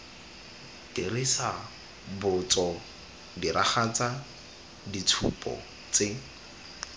dirisa botso diragatsa ditshupo tse